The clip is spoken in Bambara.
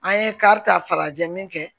An ye karita farajɛ min kɛ